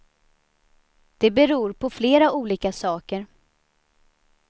Det beror på flera olika saker.